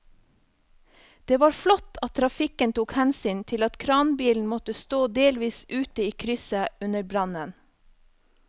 Det var flott at trafikken tok hensyn til at kranbilen måtte stå delvis ute i krysset under brannen.